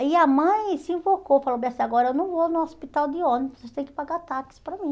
Aí a mãe se invocou, falou bem assim, agora eu não vou no hospital de ônibus, tem que pagar táxi para mim.